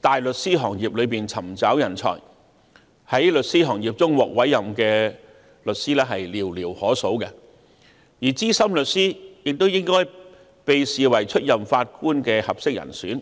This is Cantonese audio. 大律師行業中尋找人才，在事務律師行業中獲司法委任的律師卻寥寥可數；然而，資深律師亦應獲視為出任法官的合適人選。